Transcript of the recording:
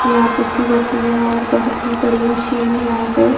यहां पीसी जाती है और बहोत ही बड़ी मशीन यहां पे--